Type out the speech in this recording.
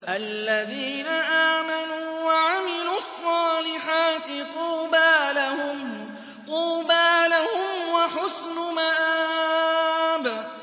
الَّذِينَ آمَنُوا وَعَمِلُوا الصَّالِحَاتِ طُوبَىٰ لَهُمْ وَحُسْنُ مَآبٍ